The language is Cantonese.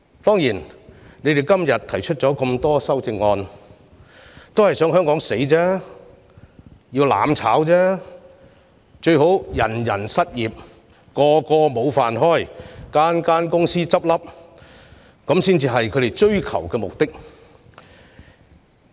他們今天提出大量修正案的目的是想香港"死"、要"攬炒"，最好是人人失業，無法糊口，大量公司倒閉，才是他們追求的目的。